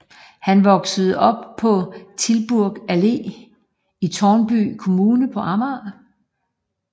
Han voksede op på Tilburg Allé i Tårnby kommune på Amager